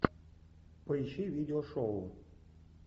поищи видео шоу